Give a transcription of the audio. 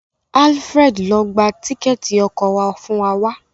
Alfred ló gbà Tíkẹ́ẹ̀tì ọkọ̀ wá fún wá.